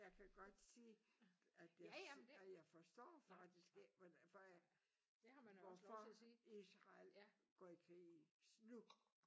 Jeg kan godt se at det og jeg forstår faktisk ikke hvordan for hvorfor Israel går i krig nu